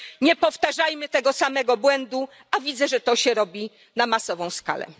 Nie powtarzajmy tego samego błędu, a widzę, że to się robi na masową skalę.